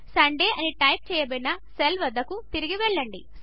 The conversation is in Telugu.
సండే అని టైప్ చేయబడిన సెల్ వద్దకు తిరిగి వెళ్ళండి